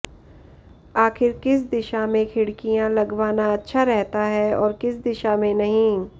आखिर किस दिशा में खिड़कियां लगवाना अच्छा रहता है और किस दिशा में नहीं